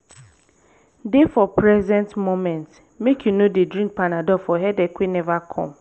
dey for present moment mek yu no dey drink panadol for headache wey neva com